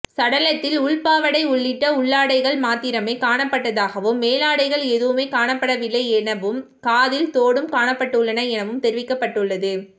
சடலத்தில் உள்பாவாடை உள்ளிட்ட உள்ளாடைகள் மாத்திரமே காணப்பட்டதாகவும் மேலாடைகள் எதுவுமே காணப்படவில்லை எனவும் காதில் தோடும் காணப்பட்டுள்ளன எனவும் தெரிவிக்கப்பட்டுள்ளது